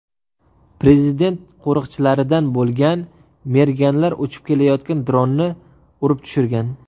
Prezident qo‘riqchilaridan bo‘lgan merganlar uchib kelayotgan dronni urib tushirgan.